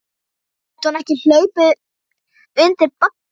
Gæti hún ekki hlaupið undir bagga?